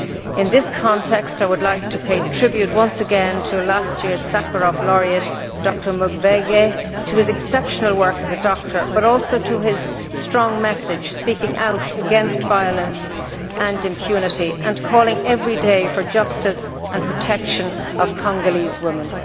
In this context, I would like to pay tribute once again to last year's Sakharov laureate, Dr Mukwege to his exceptional work as a doctor, but also to his strong message, speaking out against violence and impunity and calling every day for justice and the protection of Congolese women.